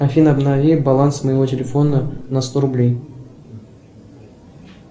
афина обнови баланс моего телефона на сто рублей